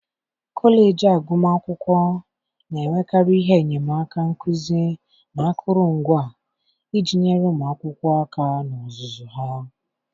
kọleji agụmakwụkwọ na-enwekarị ihe enyemaka nkuzi na akụrụngwa iji nyere ụmụ akwụkwọ aka na ọzụzụ ha.